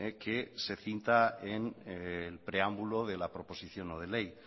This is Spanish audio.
que se cita en preámbulo de la proposición no de ley